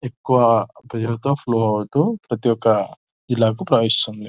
ఎక్కువ ప్రేస్సేర్ తో ఫ్లో అవుతూ ఇళ్లకు ప్రవహిస్తుంది.